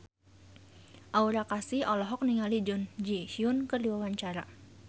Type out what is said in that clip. Aura Kasih olohok ningali Jun Ji Hyun keur diwawancara